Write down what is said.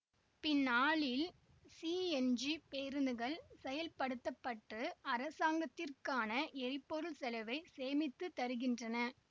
பின்னாளில் சிஎன்ஜி பேருந்துகள் செயல்படுத்த பட்டு அரசாங்கத்திற்கான எரிபொருள் செலவை சேமித்துத் தருகின்றன